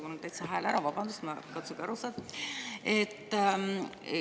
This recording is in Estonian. Vabandust, mul on täitsa hääl ära, katsuge aru saada.